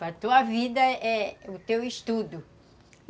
Para a tua vida é o teu estudo.